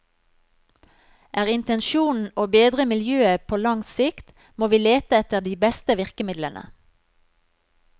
Er intensjonen å bedre miljøet på lang sikt, må vi lete etter de beste virkemidlene.